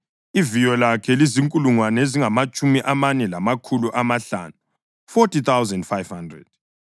Iviyo lakhe lizinkulungwane ezingamatshumi amane lamakhulu amahlanu (40,500).